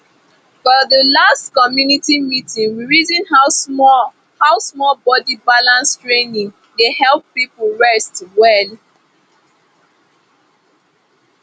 for the last community meeting we reason how small how small body balance training dey help people rest well